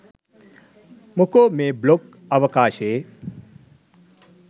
මොකෝ මේ බ්ලොග් අවකාශයේ